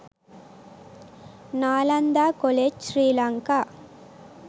nalanda college sri lanka